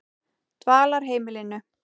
Dvalarheimilinu